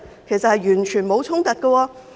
其實完全沒有衝突。